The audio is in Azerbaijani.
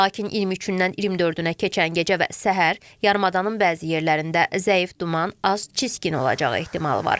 Lakin 23-dən 24-ünə keçən gecə və səhər yarımadanın bəzi yerlərində zəif duman, az çiskin olacağı ehtimalı var.